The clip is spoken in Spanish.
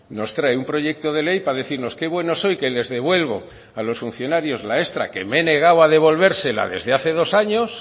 nos trae un proyecto de ley para decirnos que bueno soy que les devuelvo a los funcionarios la extra que me he negado a devolvérsela desde hace dos años